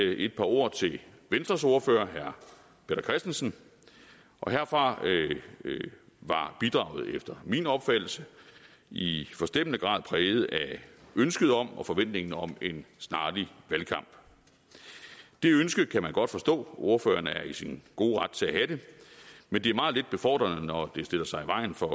jeg et par ord til venstres ordfører herre peter christensen herfra var bidraget efter min opfattelse i forstemmende grad præget af ønsket om og forventningen om en snarlig valgkamp det ønske kan man godt forstå og ordføreren er i sin gode ret til at have det men det er meget lidt befordrende når det stiller sig i vejen for